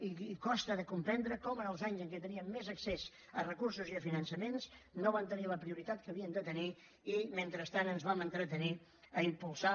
i costa de comprendre com en els anys en què teníem més accés a recursos i a finançaments no van tenir la prioritat que havien de tenir i mentrestant ens vam entretenir a impulsar